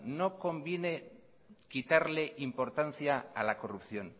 no conviene quitarle importancia a la corrupción